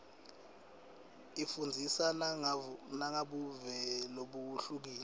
ifundzisa nangebuve lobuhlukile